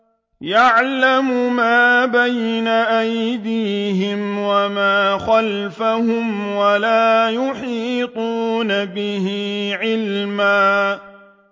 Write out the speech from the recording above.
يَعْلَمُ مَا بَيْنَ أَيْدِيهِمْ وَمَا خَلْفَهُمْ وَلَا يُحِيطُونَ بِهِ عِلْمًا